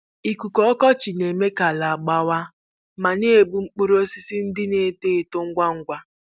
Ikuku ọkọchị na-eme ka ala gbawaa ma na egbu mkpụrụ osisi ndị na-eto eto ngwa ngwa.